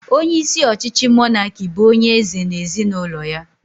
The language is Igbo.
Onyeisi ọchịchị mọnaki bụ onyeeze na ezinụlọ ya